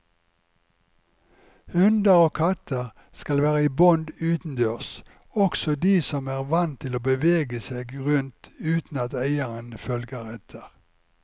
Hunder og katter skal være i bånd utendørs, også de som er vant til å bevege seg rundt uten at eieren følger etter.